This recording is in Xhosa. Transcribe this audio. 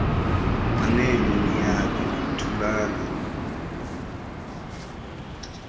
manene niyaphi thulani